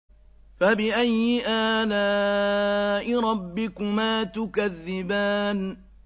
فَبِأَيِّ آلَاءِ رَبِّكُمَا تُكَذِّبَانِ